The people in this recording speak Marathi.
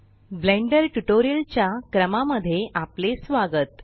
ब्लेंडर ट्यूटोरियल च्या क्रमा मध्ये आपले स्वागत